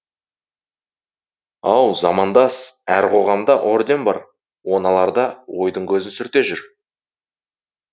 ау замандас әр қоғамда орден бар оны аларда ойдың көзін сүрте жүр